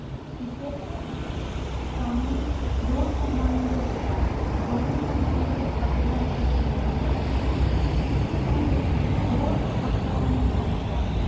Cricket चे सामने दोन संघांमध्ये होतात. दोन्ही संघांमध्ये मध्ये अकरा अकरा खेळlडू असतात. Cricket मध्ये दोन Umpire असतात.